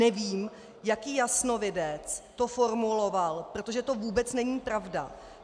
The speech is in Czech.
Nevím, jaký jasnovidec to formuloval, protože to vůbec není pravda.